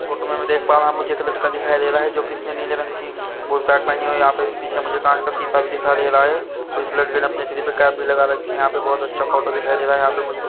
photo मे मैं देख पा रहा मुझे एक लड़का दिखाई दे रहा है जो कि इसने नीले रंग की पोशाक पहनी हुई यहां पे पीछे मुझे कांच का शीशा भी दिखाई दे रहा है उस लड़के ने अपने सिर पे कैप भी लगा रखी यहां पे बहोत अच्छा फोटो दिखाई दे रहा यहां पे मु--